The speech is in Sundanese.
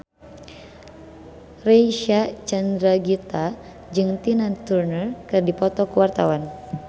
Reysa Chandragitta jeung Tina Turner keur dipoto ku wartawan